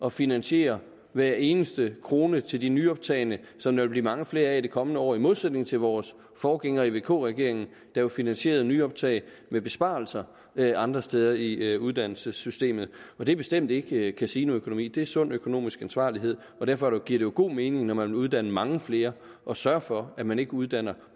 at finansiere hver eneste krone til de nyoptagne som der vil blive mange flere af i de kommende år i modsætning til vores forgængere i vk regeringen der jo finansierede nyoptag med besparelser andre steder i uddannelsessystemet og det er bestemt ikke casinoøkonomi det er sund økonomisk ansvarlighed derfor giver det jo god mening når man vil uddanne mange flere at sørge for at man ikke uddanner